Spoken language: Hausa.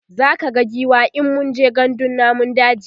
zaka ga giwa in mun je gandun namun daji